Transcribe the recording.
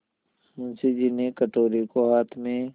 मुंशी जी ने कटोरे को हाथ में